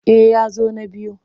Eh ya zo na biyu.